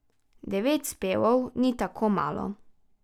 Devet spevov ni tako malo.